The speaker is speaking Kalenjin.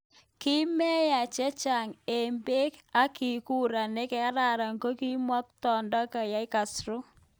Kimeyia chechang ik peg, ak kikura negararan nikimukotindo kayanet Castro.